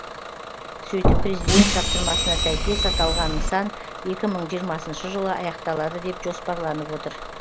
сөйтіп президент тапсырмасына сәйкес аталған нысан екі мың жиырмасыншы жылы аяқталады деп жоспарланып отыр